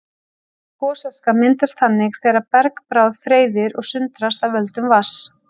Gosaska myndast þannig þegar bergbráð freyðir og sundrast af völdum vatns.